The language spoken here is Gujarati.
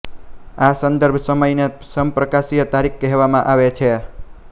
આ સંદર્ભ સમયને સમપ્રકાશીય તારીખ કહેવામાં આવે છે